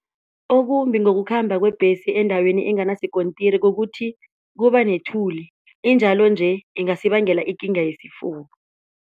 Okumbi ngokukhamba kwebhesi endaweni enganasikontiri kukuthi kuba nethuli injalo nje ingasibangela ikinga yesifuba.